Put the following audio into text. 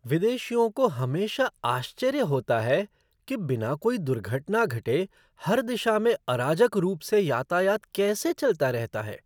विदेशियों को हमेशा आश्चर्य होता है कि बिना कोई दुर्घटना घटे, हर दिशा में अराजक रूप से यातायात कैसे चलता रहता है।